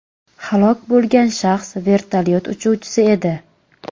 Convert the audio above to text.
Halok bo‘lgan shaxs vertolyot uchuvchisi edi.